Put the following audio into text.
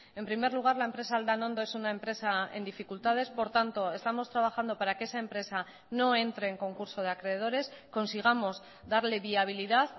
en primer lugar la empresa aldanondo es una empresa en dificultades por tanto estamos trabajando para que esa empresa no entre en concurso de acreedores consigamos darle viabilidad